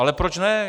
Ale proč ne?